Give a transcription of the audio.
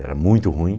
Era muito ruim.